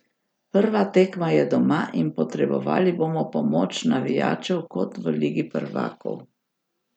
Prva tekma je doma in potrebovali bomo pomoč navijačev kot v Ligi prvakov.